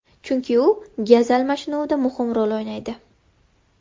Chunki u gaz almashinuvida muhim rol o‘ynaydi.